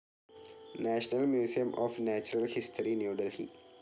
national Museum of Natural History, New Delhi